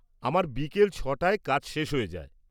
আমার বিকেল ছ'টায় কাজ শেষ হয়ে যায়।